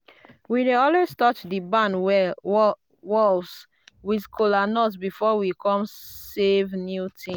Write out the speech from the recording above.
we dey always touch di barn walls with kola nut before we come save new thing.